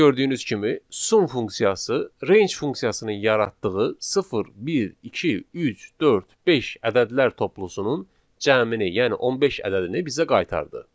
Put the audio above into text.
Burada gördüyünüz kimi, sum funksiyası range funksiyasının yaratdığı 0, 1, 2, 3, 4, 5 ədədlər toplusunun cəmini, yəni 15 ədədini bizə qaytardı.